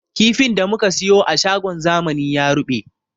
Kifin da muka siyo a shagon zamani ya ruɓe